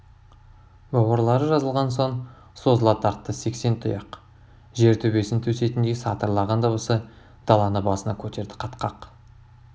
бауырлары жазылған соң созыла тартты сексен тұяқ жер төбесін тесетіндей сатырлаған дыбысы даланы басына көтерді қатқақ